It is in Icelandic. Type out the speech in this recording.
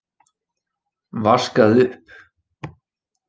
Vaskað upp.